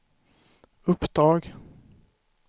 uppdrag